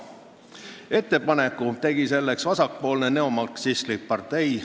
Ettepaneku selleks tegi vasakpoolne neomarksistlik partei.